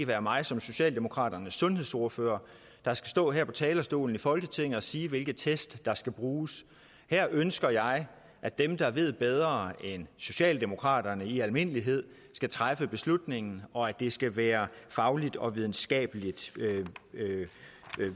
være mig som socialdemokraternes sundhedsordfører der skal stå her på talerstolen i folketinget og sige hvilke test der skal bruges her ønsker jeg at dem der ved bedre end socialdemokraterne i almindelighed skal træffe beslutningen og at det skal være fagligt og videnskabeligt